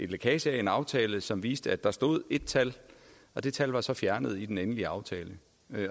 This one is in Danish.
lækage af en aftale som viste at der stod ét tal og det tal var så fjernet i den endelige aftale